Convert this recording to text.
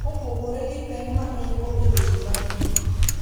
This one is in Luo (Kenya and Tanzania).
Kopogore gi pek ma en go e weche mag din,